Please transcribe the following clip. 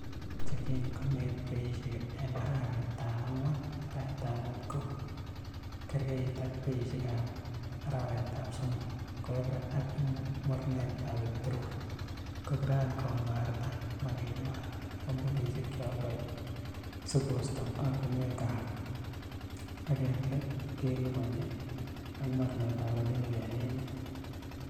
Chekin konget beishek en Arawetab angwan-Arawetab mut ko kegergeit ak beishek ab arawetab somok, ko Epra ak mornetab peterol ko kiran komarta magenywan ak kompunisiek che oldoi sikosto ortinwekchwak, ak en let keliponji ak mornetab rabinik en emet.